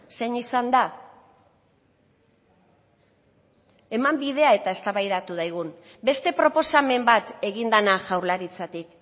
zein izan da eman bidea eta eztabaidatu dezagun beste proposamen bat egin dena jaurlaritzatik